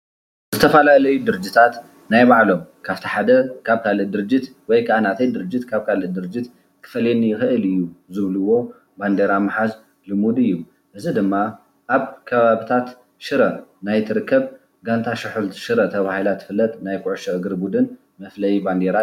ዝተፈላለዩ ድርጅታት ናይ ባዕሎም ካብቲ ሓደ ካብ ካልእ ድርጅት ወይ ክዓ ናተይ ክፈልየኒ ይክእል እዩ ዝብልዎ ባንዴራ ምሓዝ ልሙድ እዩ እዚ ድማ ኣብ ከባቢታት ሽረ ናይ ትርከብ ጋንታ ስሑል ሽረ እትፍለጥ ናይ ኩዕሾ ቡድን መፍለይ ባንዴራ እዩ።